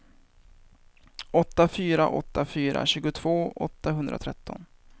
åtta fyra åtta fyra tjugotvå åttahundratretton